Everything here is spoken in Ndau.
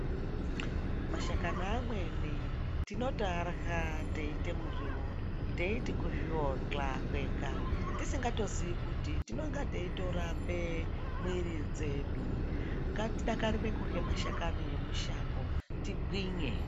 Mashakani amweni tinotoarya teite miriwo teiti kuzvionga kwega tisingatozvizii kuti tinenge teitorape mwiri dzedu ngatidakarire kurya mashakani emushango tigwinye.